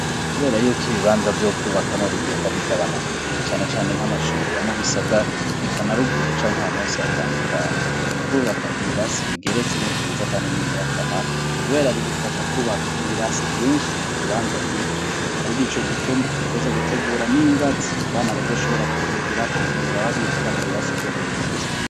Kubera yuko ibibanza vyo kwubakamwo bigenda bigabanuka ni canecane nk'amashuririba mu bisagara ekanaruguru canke ahantu hose hatandukanye kwubaka ibirasi bigeretse n'ivyiza, kandi ningira akamara, kubera bigufasha kwubaka ibirasi vyinshi mu kibanza gito ari ni ico gituma ntweza gutegura n'ingazi abana bazoshobora kudugirako mu gihe babigira mu biraso vyo hejuru.